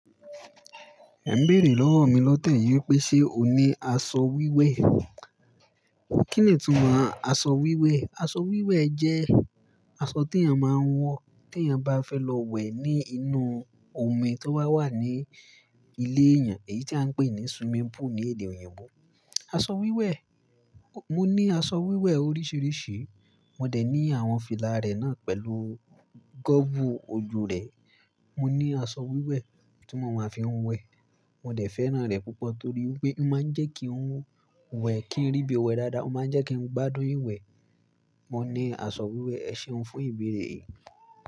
Ẹ n béèrè lọ́wọ́ mi lọ́tẹ́ yìí pé ṣe ò ní aṣọ wíwẹ̀? Kí nì túmọ̀ aṣọ wíwẹ̀? Aṣọ wíwẹ̀ jẹ́ aṣọ tí a máa ń wọ̀ tí a bá fẹ́ lọ wẹ̀ ní inú omi tó wà ní ilé èèyàn, èyí tí a n pè ní swimming pool ní èdè òyìnbó. Aṣọ wíwẹ̀, mo ní aṣọ wíwẹ̀ oríṣiríṣi. Mo dẹ̀ ní àwọn fìlà rẹ̀ náà pẹ̀lú gọ́ọ̀bù ojú rẹ̀. Mo ní aṣọ wíwẹ̀ tí mo máa fi ń wẹ̀. Mo dẹ̀ fẹ́ràn rẹ̀ púpọ̀ torí pé ó máa ń jẹ́ kí n wẹ̀ kí rí bí wẹ̀ dáadáa, ó máa ń jẹ́ kí n gbádùn ìwẹ̀. Mo ní aṣọ wíwẹ̀, èṣeun fún ìbéèrè yìí?